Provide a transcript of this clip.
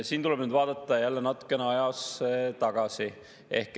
Siin tuleb nüüd vaadata jälle natukene ajas tagasi.